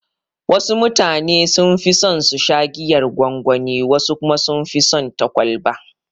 Wasu mutane sunfi son susha giyar gwangwani, wasu kuma sunfi son ta kwalba.